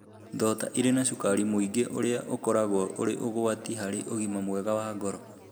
Thonda irĩ na cukari mũingĩ ũrĩa ũkoragwo ũrĩ ũgwati harĩ ũgima mwega wa ngoro.